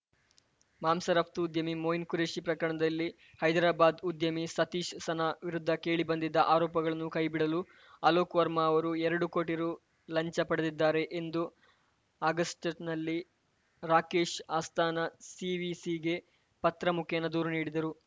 ಮಾಂಸ ರಫ್ತು ಉದ್ಯಮಿ ಮೊಯಿನ್‌ ಖುರೇಶಿ ಪ್ರಕರಣದಲ್ಲಿ ಹೈದರಾಬಾದ್‌ ಉದ್ಯಮಿ ಸತೀಶ್‌ ಸನಾ ವಿರುದ್ಧ ಕೇಳಿಬಂದಿದ್ದ ಆರೋಪಗಳನ್ನು ಕೈಬಿಡಲು ಅಲೋಕ್‌ ವರ್ಮಾ ಅವರು ಎರಡು ಕೋಟಿ ರು ಲಂಚ ಪಡೆದಿದ್ದಾರೆ ಎಂದು ಆಗಸ್ಟ್‌ನಲ್ಲಿ ರಾಕೇಶ್‌ ಅಸ್ಥಾನಾ ಸಿವಿಸಿಗೆ ಪತ್ರ ಮುಖೇನ ದೂರು ನೀಡಿದ್ದರು